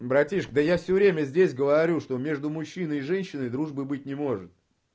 братишка да я всё время здесь говорю что между мужчиной и женщиной дружбы быть не может